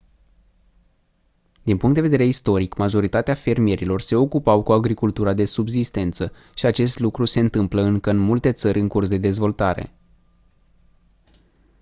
din punct de vedere istoric majoritatea fermierilor se ocupau cu agricultura de subzistență și acest lucru se întâmplă încă în multe țări în curs de dezvoltare